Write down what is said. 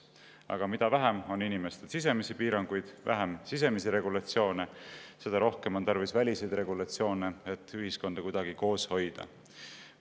Aga mida vähem on inimestel sisemisi piiranguid, mida vähem sisemist regulatsiooni, seda rohkem on tarvis välist regulatsiooni, et ühiskonda kuidagi koos hoida.